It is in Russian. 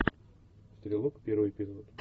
стрелок первый эпизод